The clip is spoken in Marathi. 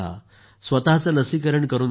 स्वतःचं लसीकरण करून घ्या